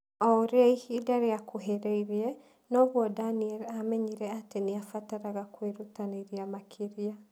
O ũrĩa ihinda rĩakuhĩrĩirie, noguo Daniel aamenyire atĩ nĩ abataraga kwĩrutanĩria makĩria.